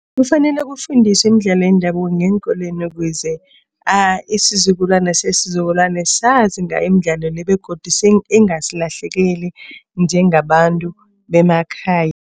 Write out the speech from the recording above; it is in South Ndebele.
Kufanele kufundiswe imidlalo yendabuko ngeenkolweni ukuze isizukulwane sesizukulwane sazi ngayo imidlalo le begodu ingasilahlekeli njengabantu bemakhaya.